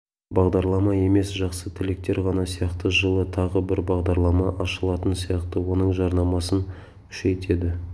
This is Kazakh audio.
бағдарлама емес жақсы тілектер ғана сияқты жылы тағы бір бағдарлама ашылатын сияқты оның жарнамасын күшейтеді